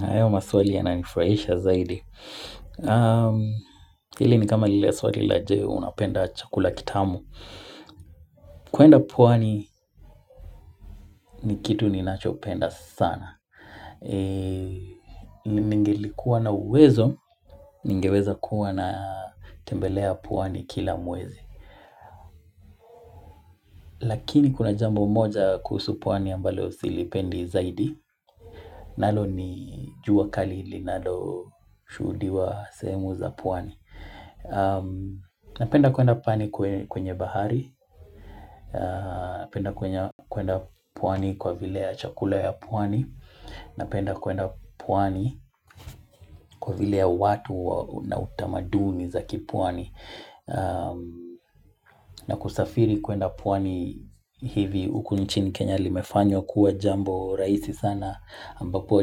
Hayo maswali yananifurahisha zaidi. Hili ni kama lile swali la je, unapenda chakula kitamu. Kuenda pwani ni kitu ninachopenda sana. Ningelikuwa na uwezo, ningeweza kuwa natembelea pwani kila mwezi. Lakini kuna jambo moja kuhusu pwani ambalo silipendi zaidi. Nalo ni jua kali linaloshuhudiwa sehemu za pwani. Napenda kwenda pwani kwenye bahari Napenda kwenda pwani kwa vile ya chakula ya pwani Napenda kwenda pwani kwa vile ya watu na utamaduni za kipwani na kusafiri kwenda pwani hivi huku nchini Kenya limefanywa kuwa jambo rahisi sana ambapo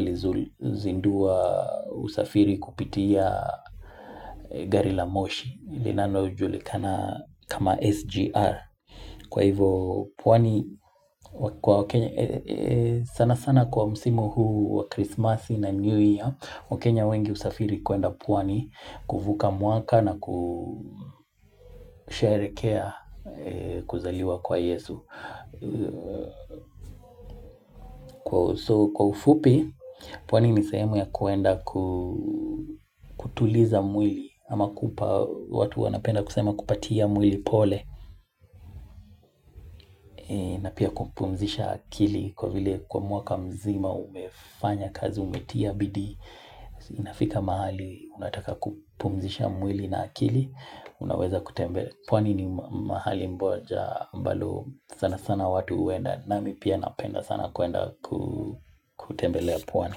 lilizindua usafiri kupitia gari la moshi Iinalojulikana kama SGR Kwa hivyo pwani sana sana kwa msimu huu wa Christmas na New Year wakenya wengi husafiri kuenda pwani kuvuka mwaka na kusherehekea kuzaliwa kwa Yesu so Kwa ufupi pwani ni sehemu ya kuenda kutuliza mwili ama kupa watu wanapenda kusema kupatia mwili pole na pia kupumzisha akili kwa vile kwa mwaka mzima umefanya kazi umetia bidii inafika mahali, unataka kupumzisha mwili na akili unaweza kutembelea pwani ni mahali moja ambalo sana sana watu huenda nami pia napenda sana kuenda kutembelea pwani.